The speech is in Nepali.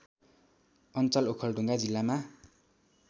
अञ्चल ओखलढुङ्गा जिल्लामा